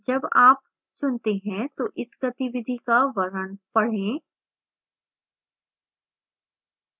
जब आप चुनते हैं तो इस गतिविधि का वर्णन पढ़ें